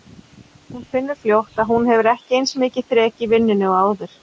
Hún finnur fljótt að hún hefur ekki eins mikið þrek í vinnunni og áður.